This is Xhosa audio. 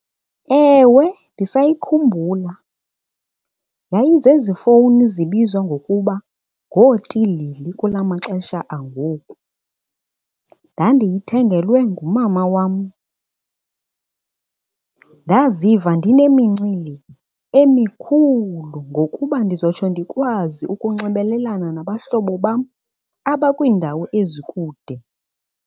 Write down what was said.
Ewe, ndisayikhumbula. Yayi zezi fowuni zibizwa ngokuba ngootilili kula maxesha angoku. Ndandiyithengelwe ngumama wam. Ndaziva ndinemincili emikhulu ngokuba ndizotsho ndikwazi ukunxibelelana nabahlobo bam abakwiindawo ezikude.